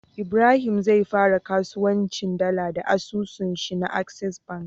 Ibrahim zai fara kasuwancin dala da asusun shi na access bank